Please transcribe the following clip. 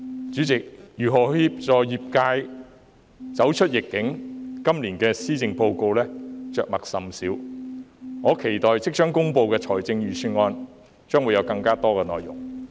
主席，如何協助業界走出疫境，今年的施政報告着墨甚少，我期待即將公布的財政預算案會有更多內容。